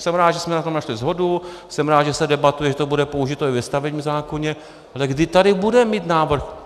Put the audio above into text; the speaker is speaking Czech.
Jsem rád, že jsme na tom našli shodu, jsem rád, že se debatuje, že to bude použito i ve stavebním zákoně, ale kdy tady budeme mít návrh?